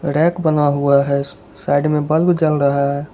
Rack बना हुआ है साइड में बल्ब जल रहा है।